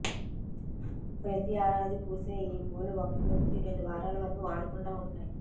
ప్రతి ఏడాది పూసే ఈ పూలు ఒకటి నుంచి రెండు వారాల వరకు వాడకుండా ఉంటాయి